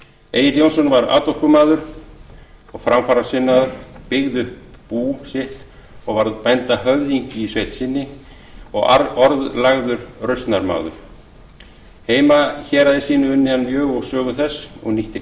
egill jónsson var atorkumaður og framfarasinnaður byggði upp bú sitt og varð bændahöfðingi í sveit sinni og orðlagður rausnarmaður heimahéraði sínu unni hann mjög og sögu þess og nýtti